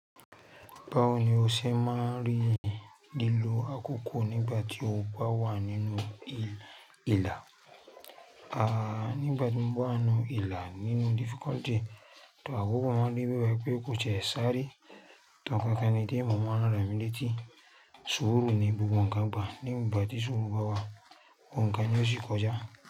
Báwo ni o ṣe máa rí lílo àkókò nígbà tí o bá wà nínú ìlà, a nígbà tí mo bá nù ìlà nínú difficulty, da wípé wọ́n máa rí i pé ó jẹ́ sárẹ́ tán kí ẹni tí ẹ̀mọ̀ wọn á rà mí létí, sùúrù ni gbogbo ǹkan gbà. Nígbà tí sùúrù bá wà, ohùn kan ni ó sì kọjá.